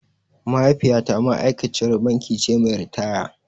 Mahaifiyata ma’aikaciyar banki ce mai ritaya.